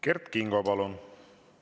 Kert Kingo, palun!